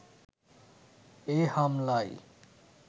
এ হামলায়